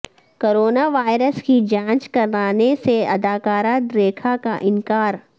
corona virus کی جانچ کرانے سے اداکارہ ریکھا کا انکار